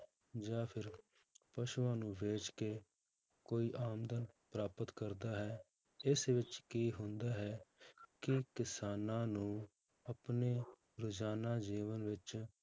ਜਾਂ ਫਿਰ ਪਸੂਆਂ ਨੂੰ ਵੇਚ ਕੇ ਕੋਈ ਆਮਦਨ ਪ੍ਰਾਪਤ ਕਰਦਾ ਹੈ ਇਸ ਵਿੱਚ ਕੀ ਹੁੰਦਾ ਹੈ ਕਿ ਕਿਸਾਨਾਂ ਨੂੰ ਆਪਣੇ ਰੁਜ਼ਾਨਾ ਜੀਵਨ ਵਿੱਚ